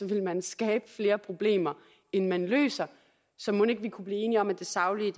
ville man skabe flere problemer end man løser så mon ikke vi kunne blive enige om at det saglige